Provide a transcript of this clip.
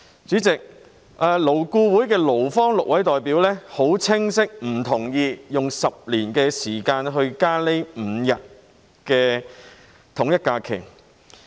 主席，勞工顧問委員會的6位勞方代表已很清晰的表明，不同意用10年時間增加5天以便統一假期。